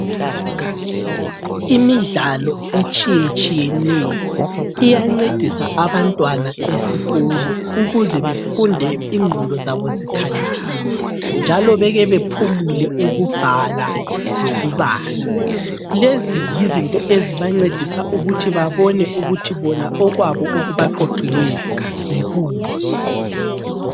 Imidlalo etshiyetshiyeneyo iyancedisa Abantwana esikolo ukuze befunde inqondo zabo zabo zikhaliphile njalo beke baphumule ukubhala lokubala, lezi yizinto ezibancendisa ukuthi babone ukuthi okwabo okubaqoqelweyo yikuphi